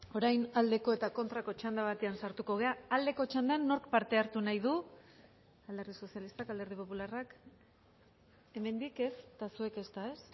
orain aldeko eta kontrako txanda batean sartuko gara aldeko txandan nork parte hartu nahi du alderdi sozialistak alderdi popularrak hemendik ez eta zuek ezta ez